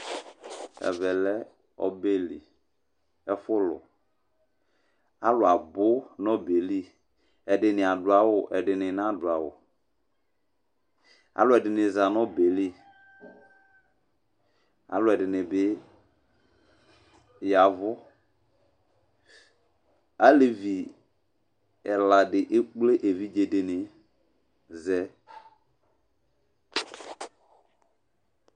Ɛvɛ lɛ ɔbɛ li, ɛfʋlʋ Alʋ abu nʋ ɔbɛ yɛ li ; ɛdɩnɩ adu awʋ, ɛdɩnɩ nadu awʋ Alʋ ɛdɩnɩ za nʋ ɔbɛ yɛ li Alʋ ɛdɩnɩ bɩ yavu Alevi ɛla dɩ ekple evidze dɩnɩ zɛ